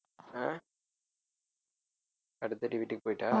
ஆஹ் அடுத்ததாட்டி வீட்டுக்கு போயிட்டா